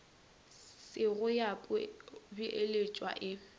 se go ya beeletšwa e